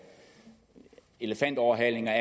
elefantoverhalinger